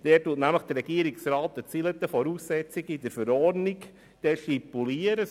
In diesem formuliert nämlich der Regierungsrat einige Voraussetzungen, die in der Verordnung zu stipulieren sind.